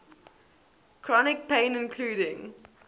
chronic pain including